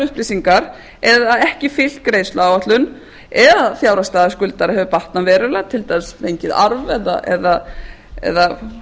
upplýsingar eða ekki fylgt greiðsluáætlun eða að fjárhagsstaða skuldara hefur batnað verulega til dæmis ef hann hefur fengið arf eða